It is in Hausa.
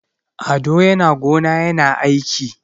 Ado yana gona yana aiki.